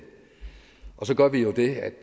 og så gør vi jo det